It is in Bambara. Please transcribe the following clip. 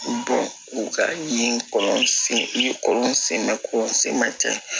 u ka ye i ye kɔlɔn sen kɔlɔn sen bɛ ten